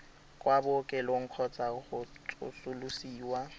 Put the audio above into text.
kwa bookelong kgotsa go tsosolosiwa